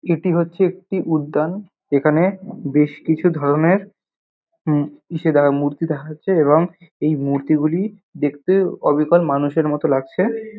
এটি হচ্ছে একটি উদ্যান এখানে বেশ কিছু ধরণের হুম ইসে দে মূর্তি দেখাচ্ছে এবং এই মূর্তিগুলি দেখতে অবিকল মানুষের মতোন লাগছে ।